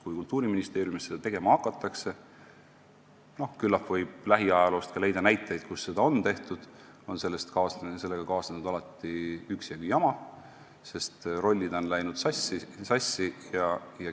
Kui Kultuuriministeeriumis seda tegema on hakatud – lähiajaloost võib leida näiteid, kui seda on tehtud –, on sellega kaasnenud alati üksjagu jama, sest rollid on läinud sassi.